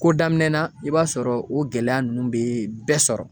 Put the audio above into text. Ko daminɛ na i b'a sɔrɔ o gɛlɛya nunnu be bɛɛ sɔrɔ